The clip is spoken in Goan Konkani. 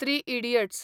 three idiots